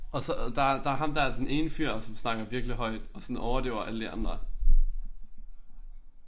Og så der er der er ham der den ene fyr som snakker virkelig højt og sådan overdøver alle de andre